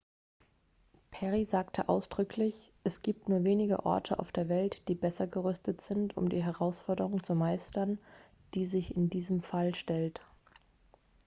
"perry sagte ausdrücklich: "es gibt nur wenige orte auf der welt die besser gerüstet sind um die herausforderung zu meistern die sich in diesem fall stellt.""